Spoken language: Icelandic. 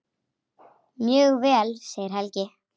Mjög vel segir Helgi.